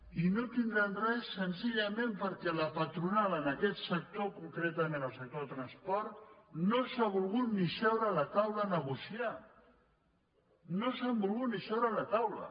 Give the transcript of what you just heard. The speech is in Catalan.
i no tindran res senzillament perquè la patronal en aquest sector concretament en el sector del trans·port no s’ha volgut ni asseure a la taula a negociar no s’han volgut ni asseure a la taula